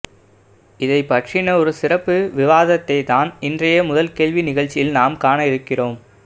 இதைப்பற்றின ஒரு சிறப்பு விவாதத்தை தான் இன்றைய முதல் கேள்வி நிகழ்ச்சியில் நாம் காண இருக்கிறோம்